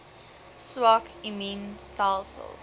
swak immuun stelsels